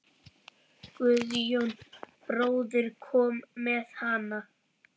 Guðjón bróðir kom með hana.